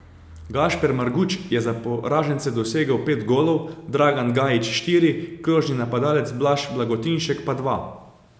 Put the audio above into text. Gašper Marguč je za poražence dosegel pet golov, Dragan Gajić štiri, krožni napadalec Blaž Blagotinšek pa dva.